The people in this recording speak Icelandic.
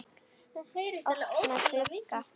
Opnar glugga.